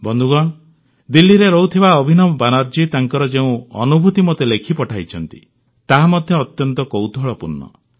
ବନ୍ଧୁଗଣ ଦିଲ୍ଲୀରେ ରହୁଥିବା ଅଭିନବ ବାନାର୍ଜୀ ତାଙ୍କର ଯେଉଁ ଅନୁଭୂତି ମୋତେ ଲେଖି ପଠାଇଛନ୍ତି ତାହା ମଧ୍ୟ ଅତ୍ୟନ୍ତ କୌତୂହଳପୂର୍ଣ୍ଣ